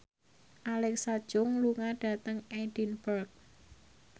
Alexa Chung lunga dhateng Edinburgh